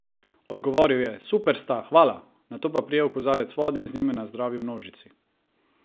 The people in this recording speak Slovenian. Odgovoril je: "Super sta, hvala," nato pa prijel kozarec vode in z njim nazdravil množici.